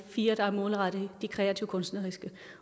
fire der er målrettet de kreative kunstneriske